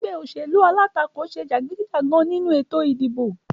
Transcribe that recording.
Egbé òṣèlú alátakò se jàgídíjàgan nínu ètò ìdìbò